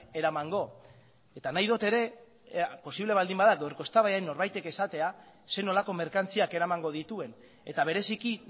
eramango eta nahi dut ere posible baldin bada gaurko eztabaidan norbaitek esatea zer nolako merkantziak eramango dituen eta bereziki